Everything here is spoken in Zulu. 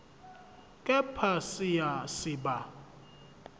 kepha siya siba